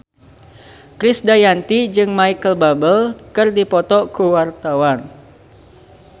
Krisdayanti jeung Micheal Bubble keur dipoto ku wartawan